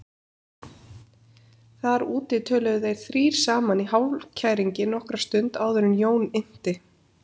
Þar úti töluðu þeir þrír saman í hálfkæringi nokkra stund áður en Jón innti